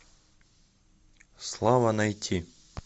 слава найти